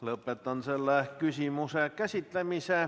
Lõpetan selle küsimuse käsitlemise.